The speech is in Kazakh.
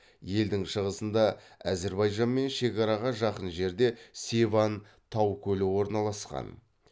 елдің шығысында әзірбайжанмен шекараға жақын жерде севан тау көлі орналасқан